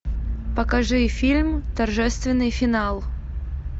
покажи фильм торжественный финал